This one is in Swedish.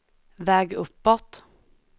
väg uppåt